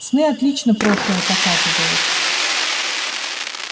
сны отлично прошлое показывают